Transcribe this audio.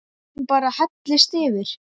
Hún bara hellist yfir.